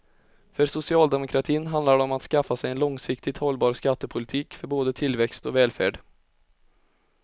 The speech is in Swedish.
För socialdemokratin handlar det om att skaffa sig en långsiktigt hållbar skattepolitik för både tillväxt och välfärd.